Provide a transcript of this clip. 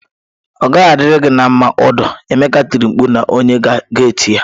Ọ gaghị adịri gị mma Audu! Emeka tiri mkpu na onye gate ya